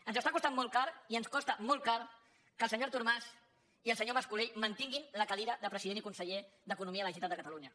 ens està costant molt car i ens costa molt car que el senyor artur mas i el senyor mas colell mantinguin la cadira de president i conseller d’economia de la generalitat de catalunya